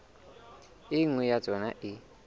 e nngwe ya tsona e